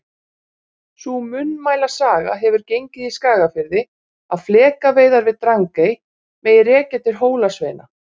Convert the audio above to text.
Sú munnmælasaga hefur gengið í Skagafirði að flekaveiðar við Drangey megi rekja til Hólasveina.